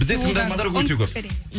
бізде тыңдармандар өте көп